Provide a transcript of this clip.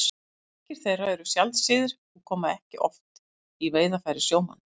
Margar þeirra eru sjaldséðar og koma ekki oft í veiðarfæri sjómanna.